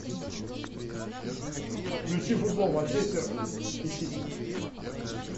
включи футбол манчестер и сити